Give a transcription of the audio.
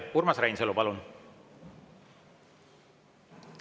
Urmas Reinsalu, palun!